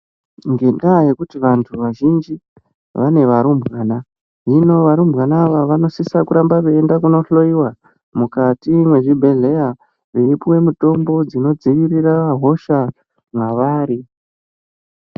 Ngenda yekuti vantu vazhinji vane varumbwana hino varumbwana ava vanosisa kuramba veindohloiwa mukati mezvibhedhlera kutsvakke mitombo dzinodzivirira hosha mavari.